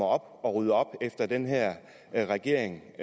og rydde op efter den her her regering